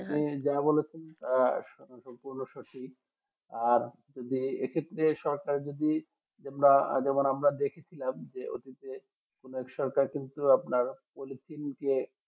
আপনি যা বলেছেন আহ সম্পূর্ণ সঠিক আর যে এই ক্ষেত্রে সরকারের যদি যেটা আমরা আজীবন দেখে ছিলাম যে ব্যবসা টা কিন্তু আপনার যে